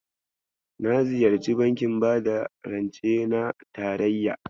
Na ziyarci bankin bada rance na tarayya.